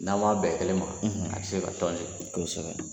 N'aw ma bɛn kelen ma abi se ka tɔn kosɛbɛ